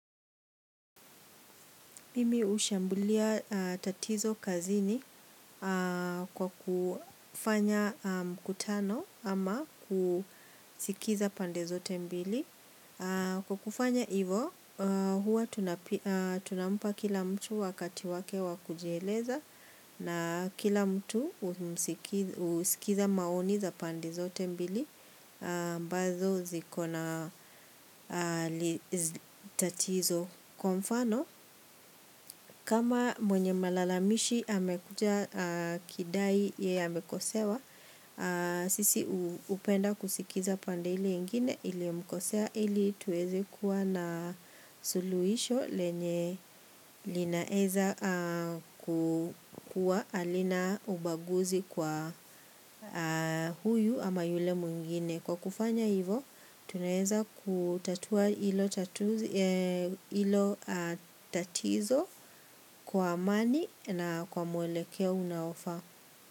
Mimi ushambulia tatizo kazini kwa kufanya mkutano ama kusikiza pande zote mbili. Kwa kufanya hivo, huwa tunampa kila mtu wakati wake wakujieleza na kila mtu husikiza maoni za pande zote mbili. Ambazo ziko na tatizo kwa mfano. Kama mwenye malalamishi amekuja kidai yeye amekosewa. Sisi hupenda kusikiza pande ili ngine ilimkosea ili tuwezi kuwa na suluisho lenye linaeza kukuwa halina ubaguzi kwa huyu ama yule mwingine. Kwa kufanya hivo, tunaweza kutatua ilo tatizo kwa amani na kwa mwelekea unaofaa.